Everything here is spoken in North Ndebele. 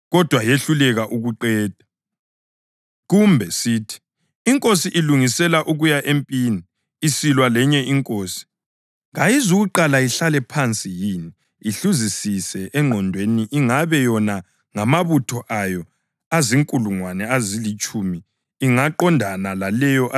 Kumbe sithi inkosi ilungisela ukuya empini isilwa lenye inkosi. Kayizukuqala ihlale phansi yini ihluzisise engqondweni ingabe yona ngamabutho ayo azinkulungwane ezilitshumi ingaqondana laleyo elezinkulungwane ezingamatshumi amabili na?